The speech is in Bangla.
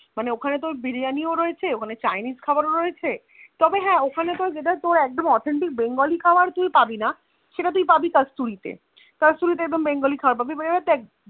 মানে ওখানে তোর Biriyani ও রয়েছে ওখানে Chinese খাবার ও রয়েছে তবে হা ওখানে একদম Authentic bengali খাবার কি পাবিনা সেটা তুই পাবি কাস্টরি তে কস্তুরী তে কদম ব্যাংক খাবার পাবি মানে দক্ষ